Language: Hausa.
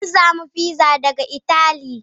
An samo fiza daga itali.